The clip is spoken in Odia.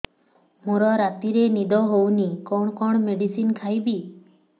ମୋର ରାତିରେ ନିଦ ହଉନି କଣ କଣ ମେଡିସିନ ଖାଇବି